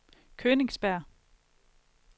Königsberg